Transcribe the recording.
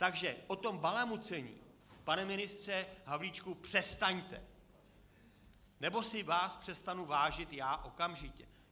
Takže o tom balamucení, pane ministře Havlíčku, přestaňte, nebo si vás přestanu vážit já okamžitě.